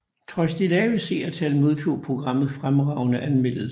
Trods de lave seertal modtog programmet fremragende anmeldelser